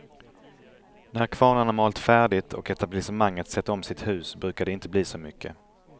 När kvarnarna malt färdigt och etablissemanget sett om sitt hus brukar det inte bli så mycket.